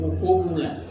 O ko la